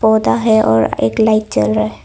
है और एक लाइट जल--